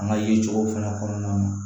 An ka yirituru fana kɔnɔna na